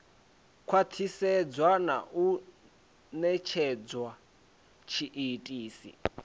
khwathisedzwa na u netshedza tshiitisi